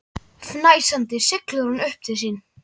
Fnæsandi siglir hún upp til sín.